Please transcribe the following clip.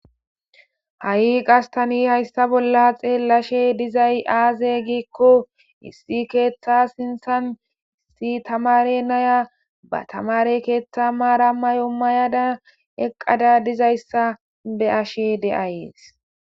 Ha'i qastani hayssa bolla xeellashe dizay aaze giikko issi keeththa sinthan issi tamare naya ba tamare keetha maara mayo mayada eqqada dizayssa be ashe de'ayees